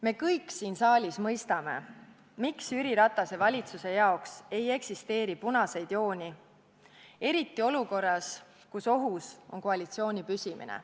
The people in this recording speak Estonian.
Me kõik siin saalis mõistame, miks Jüri Ratase valitsuse jaoks ei eksisteeri punaseid jooni, eriti olukorras, kus ohus on koalitsiooni püsimine.